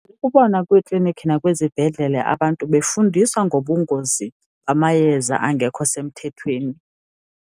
Kubona kwiiklinikhi nakwizibhedlela abantu befundiswa ngobungozi bamayeza angekho semthethweni.